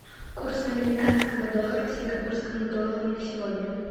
курс американского доллара к сингапурскому доллару на сегодня